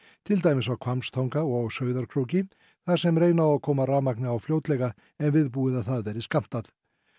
til dæmis á Hvammstanga og á Sauðárkróki þar sem reyna á að koma rafmagni á fljótlega en viðbúið að það verði skammtað